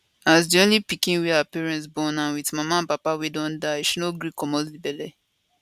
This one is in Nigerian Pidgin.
as di only pikin wey her parents born and wit mama and papa wey don die she no gree remove di belle